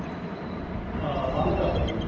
ਹਾਂ ਬੰਦ ਕਰ ਦਿੰਦੀ ਐ